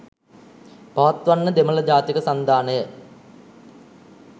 පවත්වන්න දෙමළ ජාතික සන්ධානය